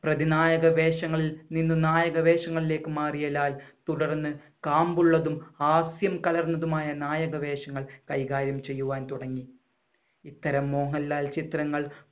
പ്രതിനായക വേഷങ്ങളിൽ നിന്നും നായക വേഷങ്ങളിലേക്ക് മാറിയ ലാൽ തുടർന്ന് കാമ്പുള്ളതും ഹാസ്യം കലർന്നതുമായ നായക വേഷങ്ങൾ കൈകാര്യം ചെയ്യുവാൻ തുടങ്ങി. ഇത്തരം മോഹൻലാൽ ചിത്രങ്ങൾ